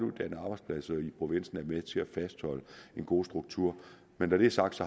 arbejdspladser i provinsen er med til at fastholde en god struktur men når det er sagt